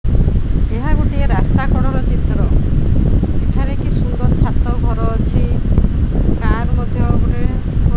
ଏହା ଗୋଟିଏ ରାସ୍ତା କଡ ର ଚିତ୍ର ଏଠାରେ କି ସୁନ୍ଦର ଛାତ ଘର ଅଛି କାର ମଧ୍ୟ ଗୋଟେ --